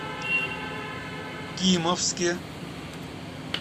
кимовске